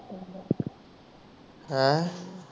ਆਹ